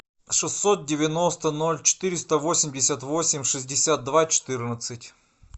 шестьсот девяносто ноль четыреста восемьдесят восемь шестьдесят два четырнадцать